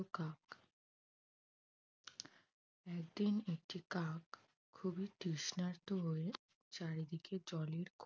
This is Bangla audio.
একদিন একটি কাক খুবই তৃষ্ণার্ত হয়ে চারিদিকে জলের